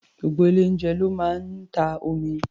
Gbogbo ilé-oúnjẹ ló máa ń ta omi.